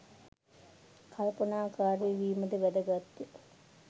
කල්පනාකාරී වීමද වැදගත්ය.